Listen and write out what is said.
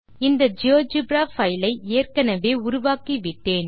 இந்த GeoGebra file ஐ ஏற்கெனெவே உருவாக்கிவிட்டேன்